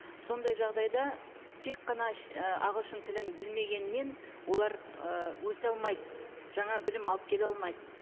сондай жағдайда тек қана і ағылшын тілін білмегеннен олар ы өсе алмайды жаңа білім алып келе алмайды